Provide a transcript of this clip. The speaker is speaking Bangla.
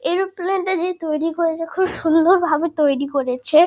এরোপ্লেন -টা যে তৈরী করেছে খুব সুন্দরভাবে তৈরী করেছে।